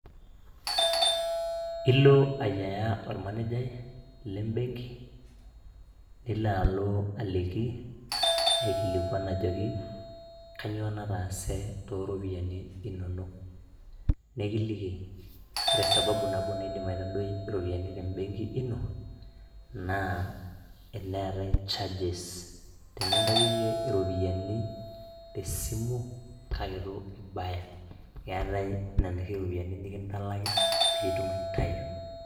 Ilo aiyeaa ormanejai le mbenki nilo alo aliki aikilikuan ajoki kanyioo nataase too iiropiyiani inono, nekiliki ore sababu nabo naidim aitadoi iropiyiani te mbenki ino naa eneatai charges tenintayu niye iropiyiani te simu kake etu ibaya ,eatai nena oshi iropiyiani nikintalaki piiitum aitayu.